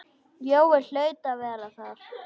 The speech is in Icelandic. Jói hlaut að vera þar.